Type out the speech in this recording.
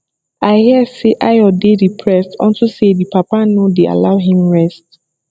i hear say ayo dey depressed unto say the papa no dey allow him rest